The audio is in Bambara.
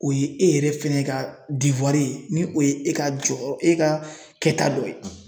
O ye e yɛrɛ fɛnɛ ka ye ni o ye e ka jɔyɔrɔ e ka kɛta dɔ ye.